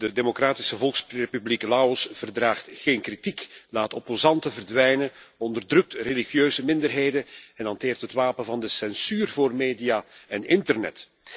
De Democratische Volksrepubliek Laos verdraagt geen kritiek, laat opposanten verdwijnen, onderdrukt religieuze minderheden en hanteert het wapen van de censuur voor media en internet.